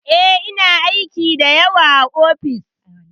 Eh, ina aiki da yawa a ofis.